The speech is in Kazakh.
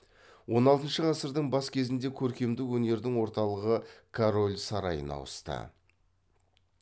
он алтыншы ғасырдың бас кезінде көркемдік өнердің орталығы король сарайына ауысты